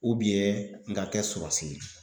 n ka kɛ sɔrasi ye